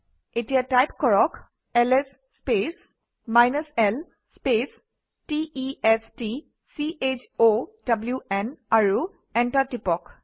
এতিয়া টাইপ কৰক ls space l space t e s t c h o w ন আৰু enter টিপক